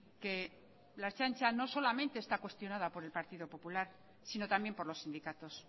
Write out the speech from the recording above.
que la ertzaintza no solamente está cuestionada por el partido popular sino también por los sindicatos